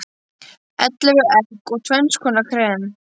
Ellefu egg og tvenns konar krem.